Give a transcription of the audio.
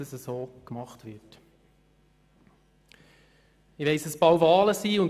Ich weiss, dass bald Wahlen anstehen.